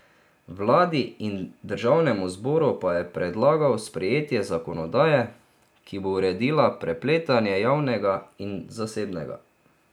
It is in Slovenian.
Vladi in državnemu zboru pa je predlagal sprejetje zakonodaje, ki bo uredila prepletanje javnega in zasebnega.